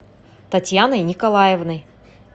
татьяной николаевной